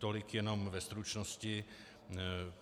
Tolik jenom ve stručnosti.